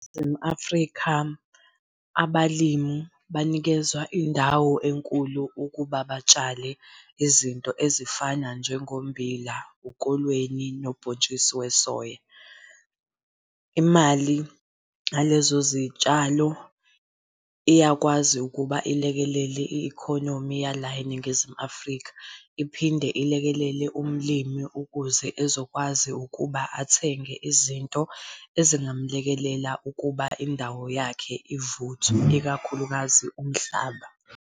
NgumAfrica, abalimi banikezwa indawo enkulu ukuba batshale izinto ezifana njengommbila, ukolweni, nobhontshisi wesoya. Imali, ngalezo zitshalo iyakwazi ukuba ilekelele i-economy yala eNingizimu Afrika, iphinde ilekelele umlimi ukuze ezokwazi ukuba athenge izinto ezingamlekelela ukuba indawo yakhe ivuthwe ikakhulukazi umhlaba.